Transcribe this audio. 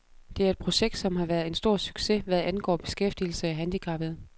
Det er et projekt, som har været en stor succes, hvad angår beskæftigelse af handicappede.